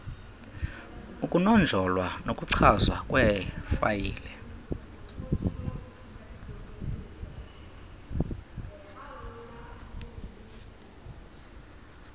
ukunonjolwa nokuchazwa kweefayile